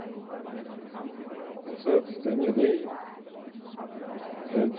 terminei, a gente...